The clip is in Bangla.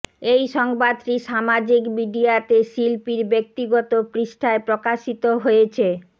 এই সংবাদটি সামাজিক মিডিয়াতে শিল্পীর ব্যক্তিগত পৃষ্ঠায় প্রকাশিত হয়েছে